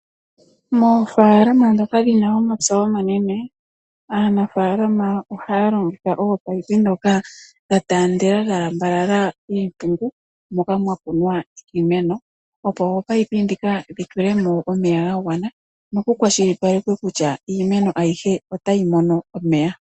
Moofaalama ndhoka dhina omapya omanene, aanafaalama ohaya longitha ominino ndhoka dha taandela dha lambalala iimpungu moka mwa kunwa iimeno, opo ominino ndhika dhi tulemo omeya ga gwana, noku kwashilipalekwe kutya iimeno ayihe otayi mono omeya.